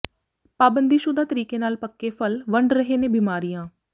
ਪਾਬੰਦੀਸ਼ੁਦਾ ਤਰੀਕੇ ਨਾਲ ਪੱਕੇ ਫਲ ਵੰਡ ਰਹੇ ਨੇ ਬਿਮਾਰੀਆਂ